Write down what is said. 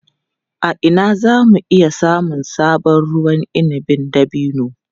A ina za mu iya samun sabon ruwan inabin dabino?